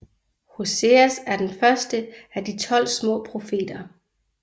Hoseas er den første af De tolv små profeter